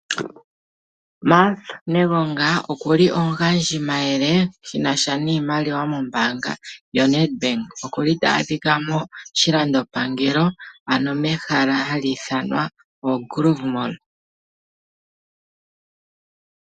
Martha Negonga oku li omugandjimayele shi na sha niimaliwa mombaanga yoNedbank. Ota adhika moshilandopangelo mehala hali ithanwa oGrove Mall.